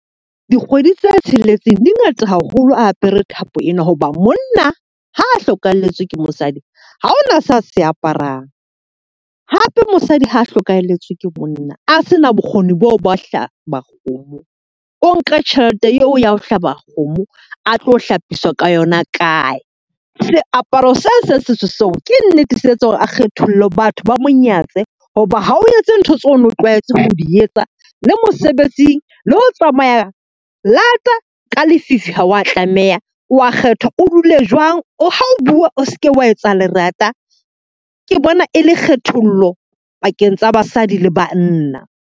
Dikgwedi tse tsheletseng di ngata haholo a apere thapo ena, hoba monna ha a hlokahalletswe ke mosadi ha hona sa se aparang. Hape mosadi ha hlokahelletswe ke monna, a se na bokgoni boo ba ho . O nke tjhelete eo ya ho hlaba kgomo a tlo hlapiswa ka yona kae? Seaparo se seng setso seo, ke nnete se etsa hore a kgethollo batho ba mo nyatse. Hoba ha o etse ntho tseo o no tlwaetse ho di etsa, a le mosebetsing, le ho tsamaya lata ka lefifi. Ha wa tlameha o a kgethwa, o dule jwang, ha o bua o seke wa etsa lerata. Ke bona e le kgethollo pakeng tsa basadi le banna.